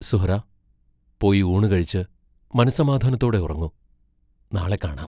സുഹ്റാ, പോയി ഊണു കഴിച്ച്, മനസ്സമാധാനത്തോടെ ഉറങ്ങു; നാളെ കാണാം.